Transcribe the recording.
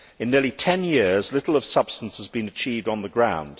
In nearly ten years little of substance has been achieved on the ground.